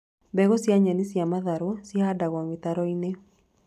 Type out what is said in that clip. Mbegũ cia nyeni cia matharũ cihandagwo mĩtaro-inĩ